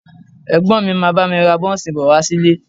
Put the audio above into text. Ẹ̀gbọ́n mi máa bá mi ra bọ́ńsì bọ̀ wá sílé